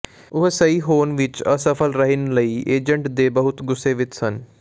ਉਹ ਸਹੀ ਹੋਣ ਵਿਚ ਅਸਫਲ ਰਹਿਣ ਲਈ ਏਜੰਟ ਦੇ ਬਹੁਤ ਗੁੱਸੇ ਵਿਚ ਸਨ